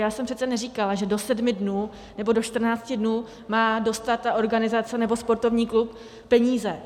Já jsem přece neříkala, že do sedmi dnů nebo do čtrnácti dnů má dostat ta organizace nebo sportovní klub peníze.